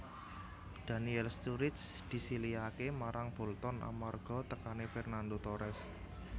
Daniel Sturridge disilihaké marang Bolton amarga tekané Fernando Torres